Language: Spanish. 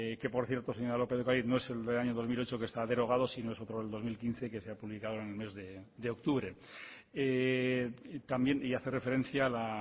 que por cierto señora lópez de ocariz no es el del año dos mil ocho que está derogado sino que es otro del dos mil quince que se ha publicado en el mes de octubre también y hace referencia a la